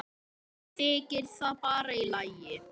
Þykir það bara í lagi.